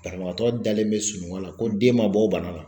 Banabagatɔ dalen bɛ sunɔgɔ la ko den man bɔ o bana la.